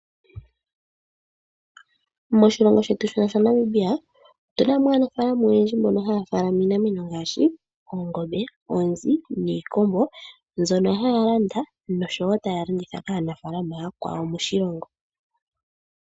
Moshilongo shetu shino sha Namibia otuna mo aanafaalama oyendji mbono haya munu iinamwenyo ngaashi oongombe, oonzi niikombo mbyono haya landa noshowo taya landitha kaanafaalama aakwawo moshilongo.